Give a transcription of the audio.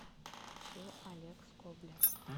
включи олег скобля